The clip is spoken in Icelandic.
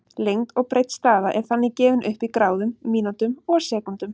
Lengd og breidd staða er þannig gefin upp í gráðum, mínútum og sekúndum.